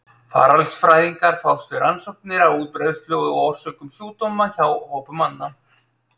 Faraldsfræðingar fást við rannsóknir á útbreiðslu og orsökum sjúkdóma hjá hópum manna.